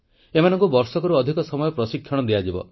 ଏମାନଙ୍କୁ ବର୍ଷକରୁ ଅଧିକ ସମୟ ପ୍ରଶିକ୍ଷଣ ଦିଆଯିବ